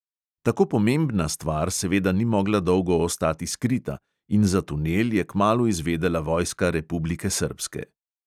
Tako pomembna stvar seveda ni mogla dolgo ostati skrita in za tunel je kmalu izvedela vojska republike srbske.